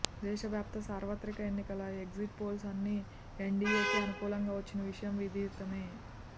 దేశవ్యాప్త సార్వత్రిక ఎన్నికల ఎగ్జిట్ పోల్స్ అన్నీ ఎన్డీఏకే అనుకూలంగా వచ్చిన విషయం విదితమే